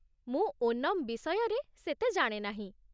ମୁଁ ଓନମ୍ ବିଷୟରେ ସେତେ ଜାଣେ ନାହିଁ ।